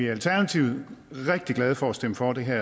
alternativet rigtig glade for at stemme for det her